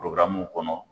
kɔnɔ